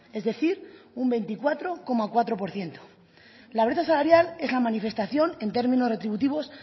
es decir un veinticuatro coma cuatro por ciento la brecha salarial es la manifestación en términos retributivos